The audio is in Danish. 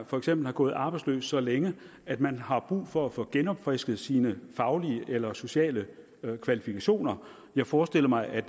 for eksempel har gået arbejdsløs så længe at man har brug for at få genopfrisket sine faglige eller sociale kvalifikationer jeg forestiller mig at